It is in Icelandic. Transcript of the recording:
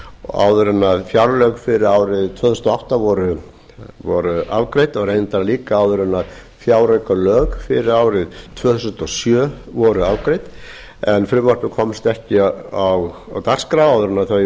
áður en fjárlög fyrir árið tvö þúsund og átta voru afgreidd og reyndar líka áður en fjáraukalög fyrir árið tvö þúsund og sjö voru afgreidd en frumvarpið komst ekki á dagskrá áður en þau